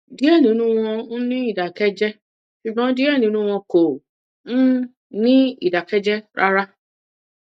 diẹ ninu wọn n ni idakẹjẹ ṣugbọn diẹ ninu wọn kò um ni idakẹjẹ rara